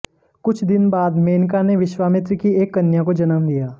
कुछ दिन बाद मेनका ने विश्वामित्र की एक कन्या को जन्म दिया